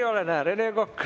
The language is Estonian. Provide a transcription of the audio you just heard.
Rene Kokk.